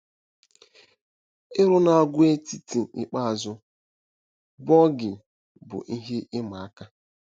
Ịru n'àgwàetiti ikpeazụ, Boigu, bụ ihe ịma aka.